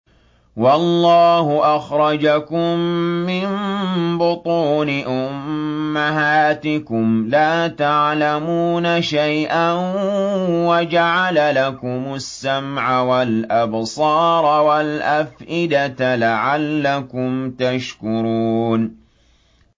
وَاللَّهُ أَخْرَجَكُم مِّن بُطُونِ أُمَّهَاتِكُمْ لَا تَعْلَمُونَ شَيْئًا وَجَعَلَ لَكُمُ السَّمْعَ وَالْأَبْصَارَ وَالْأَفْئِدَةَ ۙ لَعَلَّكُمْ تَشْكُرُونَ